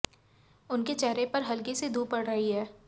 उनके चेहरे पर हल्की सी धूप पड़ रही है